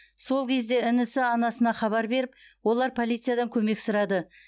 сол кезде інісі анасына хабар беріп олар полициядан көмек сұрады